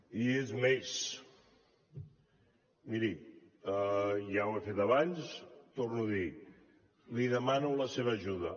i és més miri ja ho he fet abans ho torno a dir li demano la seva ajuda